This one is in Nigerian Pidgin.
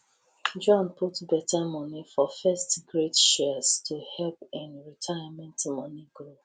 john put beta moni for firstgrade shares to help im retirement money grow